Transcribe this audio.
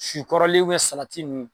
Si kɔrɔlen salati nn